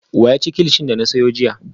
Wa ya ci kilichi na siya jiya?